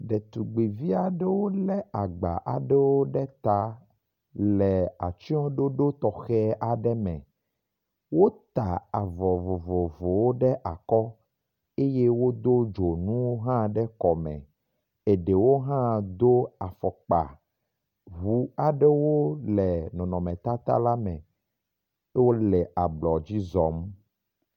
Ɖetugbivi aɖewo lé agba aɖewo ɖe ta le atsyɔɖoɖo tɔxɛ aɖe me. Wota avɔ vovovowo ɖe akɔ eye wodo dzonuwo hã ɖe kɔme. Eɖewo hã do afɔkpa. Ŋu aɖewo le nɔnɔmetata la me wole ablɔdzi zɔ̃m.